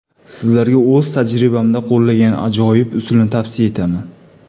Sizlarga o‘z tajribamda qo‘llagan ajoyib usulni tavsiya etaman.